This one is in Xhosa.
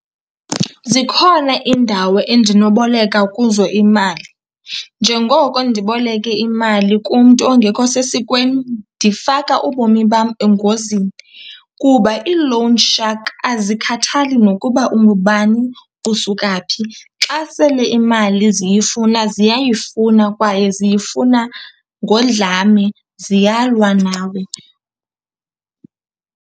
Zikhona iindawo endinoboleka kuzo imali. Njengoko ndiboleke imali kumntu ongekho sesikweni ndifaka ubomi bam engozini kuba ii-loan shark azikhathali nokuba ungubani, usuka phi, xa sele imali ziyifuna ziyayifuna kwaye ziyifuna ngodlame, ziyalwa nawe.